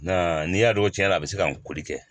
Nka n'i y'a dɔn tiɲɛna a bɛ se ka n kori kɛ